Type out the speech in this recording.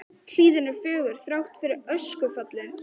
Lóa: Hlíðin er fögur, þrátt fyrir öskufallið?